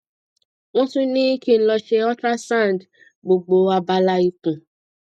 wọn tún ní kí n lọ ṣe ultrasound gbogbo abala ikùn